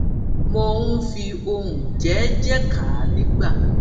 mò ń fi ohùn jééjéé kà á nígbà